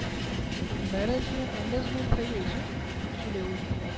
marriageengagement થઇ ગઈ છે